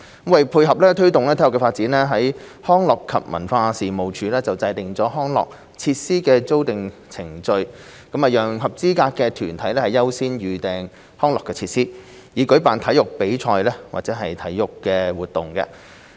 為配合推動體育發展，康樂及文化事務署制訂了康樂設施的預訂程序，讓合資格的團體優先預訂康樂設施，以舉辦體育比賽或體育活動。